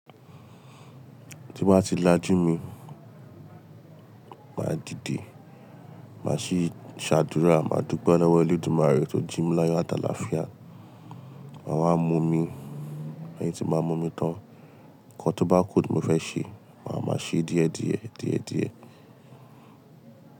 Tí n bá ti lajú mi, màá dìde, màá ṣí ṣàdúrà, màá dúpe lọ́wọ́ eledumare tó jí mi láyo àtàlaafia, màá wá mo mi, lẹ́yìn tí màá mo mi tán, nǹkan tó bá kú tí mo fẹ́ ṣe, màá máa ṣe díẹ̀díẹ̀, díẹ̀díẹ̀.